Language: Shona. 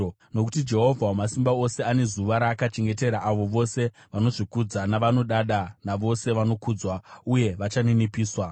Nokuti Jehovha Wamasimba Ose ane zuva raakachengetera avo vose vanozvikudza navanodada, navose vanokudzwa (uye vachaninipiswa),